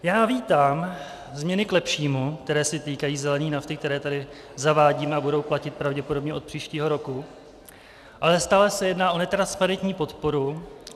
Já vítám změny k lepšímu, které se týkají zelené nafty, které tady zavádíme a budou platit pravděpodobně od příštího roku, ale stále se jedná o netransparentní podporu.